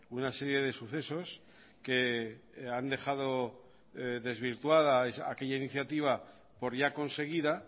una serie de sucesos que han dejado desvirtuada aquella iniciativa por ya conseguida